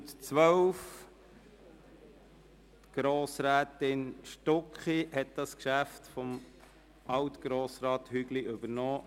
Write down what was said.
112. Grossrätin Stucki hat dieses Geschäft von alt Grossrat Hügli übernommen.